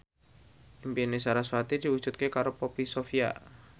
impine sarasvati diwujudke karo Poppy Sovia